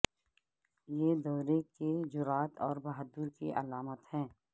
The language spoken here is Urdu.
یہ دورے کی جرات اور بہادر کی علامت ہے